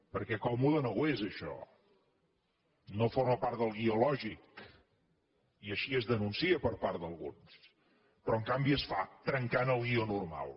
perquè còmode no ho és això no forma part del guió lògic i així es denuncia per part d’alguns però en canvi es fa trencant el guió normal